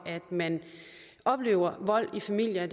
man oplever vold i familier